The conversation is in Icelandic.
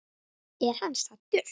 Er hann saddur?